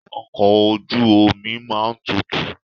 Ọkọ̀ ojú omi máa ń tutù.